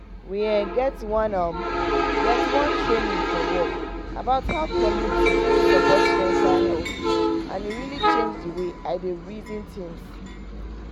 we um get one um get one training for work about how community fit support mental health and e really change the way i dey reason things